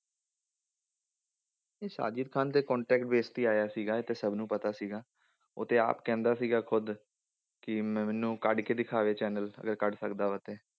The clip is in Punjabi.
ਇਹ ਸਾਜਿਦ ਖਾਨ ਤੇ contact base ਤੇ ਹੀ ਆਇਆ ਸੀਗਾ ਇਹ ਤੇ ਸਭ ਨੂੰ ਪਤਾ ਸੀਗਾ, ਉਹ ਤੇ ਆਪ ਕਹਿੰਦਾ ਸੀਗਾ ਖੁੱਦ, ਕਿ ਮੈਨੂੰ ਕੱਢ ਕੇ ਦਿਖਾਵੇ channel ਅਗਰ ਕੱਢ ਸਕਦਾ ਵਾ ਤੇ।